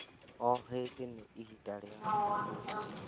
O hĩndĩ nĩ ihinda rĩa gwĩbundithia.